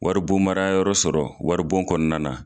Wari bon mara yɔrɔ sɔrɔ wari bon kɔnɔna na